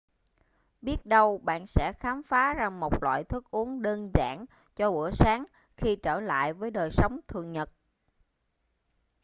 biết đâu bạn sẽ khám phá ra một loại thức uống đơn giản cho bữa sáng khi trở lại với đời sống thường nhật